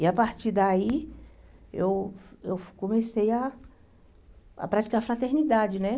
E a partir daí, eu eu comecei a a praticar fraternidade, né?